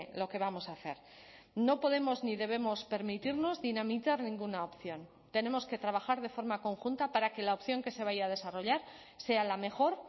lo que vamos a hacer no podemos ni debemos permitirnos dinamitar ninguna opción tenemos que trabajar de forma conjunta para que la opción que se vaya a desarrollar sea la mejor